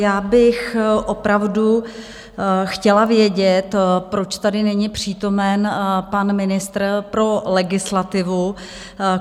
Já bych opravdu chtěla vědět, proč tady není přítomen pan ministr pro legislativu.